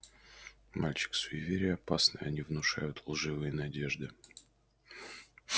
мальчик суеверия опасны они внушают лживые надежды